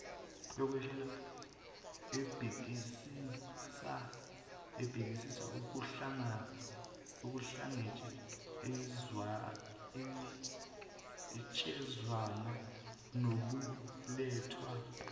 ebhekisisa ukuhlangatshezwana nokulethwa